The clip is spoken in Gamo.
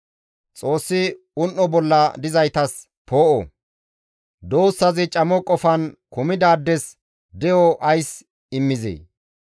«Xoossi un7o bolla dizaytas poo7o, duussazi camo qofan kumidaades de7o ays immizee?